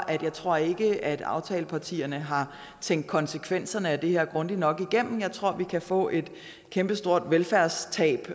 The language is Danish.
jeg tror ikke at aftalepartierne har tænkt konsekvenserne af det her grundigt nok igennem jeg tror vi kan få et kæmpestort velfærdstab